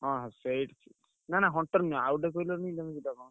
ହଁ ସେଇ ନା ନା Hunter ନୁହେଁ। ଆଉ ଗୋଟେ କହିଲନି ଯୋଉ ଗୋଟାକ?